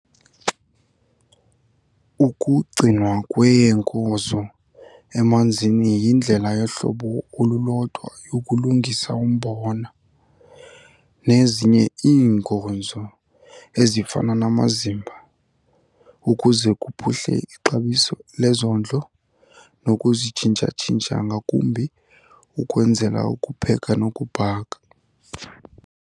Ukugcinwa kweenkozo emanzini yindlela yohlobo olulodwa yokulungisa umbona, nezinye iinkonzo ezifana namazimba, ukuze kuphuhle ixabiso lezondlo nokuzitshintsha-tshintsha ngakumbi ukwenzela ukupheka nokubhaka.